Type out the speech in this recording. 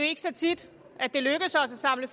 ikke så tit at det lykkes os at samle